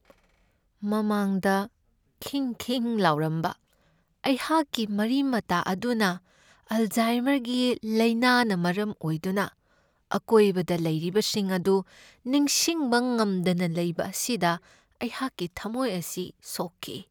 ꯃꯃꯥꯡꯗ ꯈꯤꯡ ꯈꯤꯡ ꯂꯥꯎꯔꯝꯕ ꯑꯩꯍꯥꯛꯀꯤ ꯃꯔꯤ ꯃꯇꯥ ꯑꯗꯨꯅ ꯑꯜꯖꯥꯏꯃꯔꯒꯤ ꯂꯥꯏꯅꯥꯅ ꯃꯔꯝ ꯑꯣꯏꯗꯨꯅ ꯑꯀꯣꯏꯕꯗ ꯂꯩꯔꯤꯕꯁꯤꯡ ꯑꯗꯨ ꯅꯤꯡꯁꯤꯡꯕ ꯉꯝꯗꯅ ꯂꯩꯕ ꯑꯁꯤꯗ ꯑꯩꯍꯥꯛꯀꯤ ꯊꯝꯃꯣꯏ ꯑꯁꯤ ꯁꯣꯛꯈꯤ ꯫